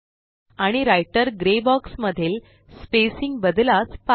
आणिWriter grey box मधील spacing बद्लास पहा